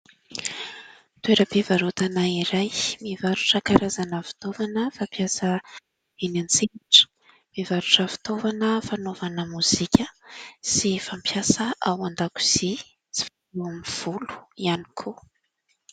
Toeram-pivarotana iray. Mivarotra karazana fitaovana fampiasa eny an-tsehatra, mivarotra fitaovana fanaovana mozika sy fampiasa ao an-dakozy, eo amin'ny volo ihany koa.